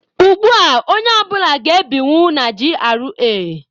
Ugbua, onye ọ bụla ga-ebinwu na GRA.